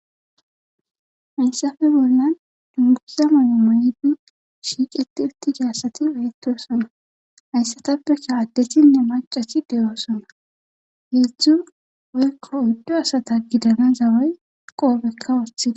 hayssafe bollan dunguza mayo mayidi shiiqeti utida assati betosona hayssatappeka addesinne macasi de7oosana heedzdzu woykko uddo asata gidana zawey qoobekka woothide